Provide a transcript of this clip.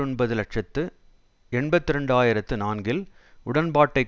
ஒன்பது இலட்சத்து எண்பத்தி இரண்டு ஆயிரத்து நான்கில் உடன்பாட்டை